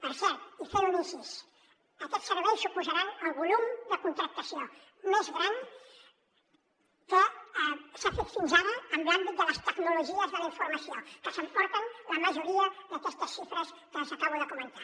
per cert i fent un incís aquests serveis suposaran el volum de contractació més gran que s’ha fet fins ara en l’àmbit de les tecnologies de la informació que s’emporten la majoria d’aquestes xifres que els hi acabo de comentar